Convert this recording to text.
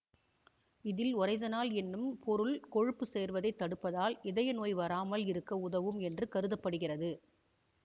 இதில் ஒரைசனால் என்னும் பொருள் கொழுப்பு சேர்வதைத் தடுப்பதால் இதயநோய் வராமல் இருக்க உதவும் என்று கருத படுகிறது